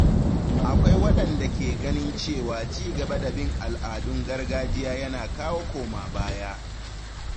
Akwai waɗanda ke ganin cewa cigaba da bin al’adun gargajiya yana kawo koma baya.